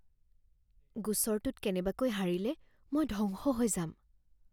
গোচৰটোত কেনেবাকৈ হাৰিলে মই ধ্বংস হৈ যাম